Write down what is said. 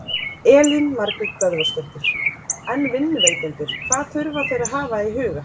Elín Margrét Böðvarsdóttir: En vinnuveitendur hvað þurfa þeir að hafa í huga?